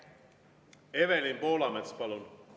Evelin Poolamets, palun!